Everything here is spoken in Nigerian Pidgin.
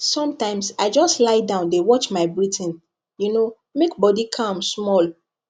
sometimes i just lie down dey watch my breathing you know make body calm small